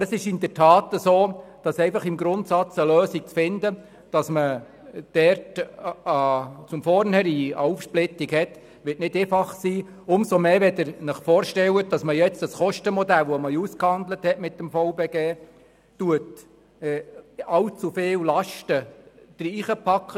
Aber es ist in der Tat so, dass es nicht ganz einfach sein wird, eine Lösung für eine Aufsplittung zu finden – umso mehr, wenn wir jetzt in das Kostenmodell, welches wir mit dem VBG ausgehandelt haben, allzu viele Lasten hineinpacken.